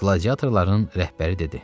Qladiatorların rəhbəri dedi: